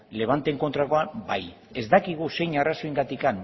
levanteren kontrakoan bai ez dakigu zer arrazoiengatik